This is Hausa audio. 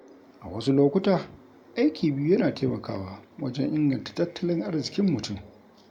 A wasu lokuta, aiki biyu yana taimakawa wajen inganta tattalin arzikin mutum.